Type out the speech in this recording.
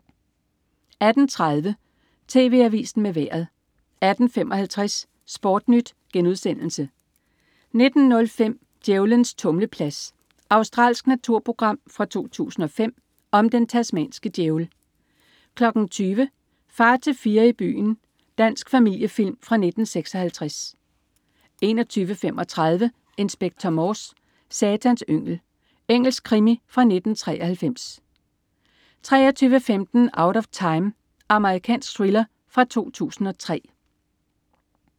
18.30 TV Avisen med Vejret 18.55 SportNyt* 19.05 Djævlens tumleplads. Australsk naturprogram fra 2005 om den tasmanske djævel 20.00 Far til fire i byen. Dansk familiefilm fra 1956 21.35 Inspector Morse: Satans yngel. Engelsk krimi fra 1993 23.15 Out of Time. Amerikansk thriller fra 2003